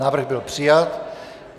Návrh byl přijat.